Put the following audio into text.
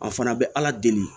A fana bɛ ala deli